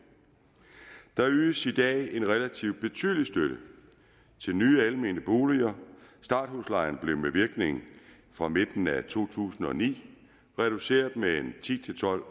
der ydes i dag en relativt betydelig støtte til nye almene boliger og starthuslejen blev med virkning fra midten af to tusind og ni reduceret med ti til tolv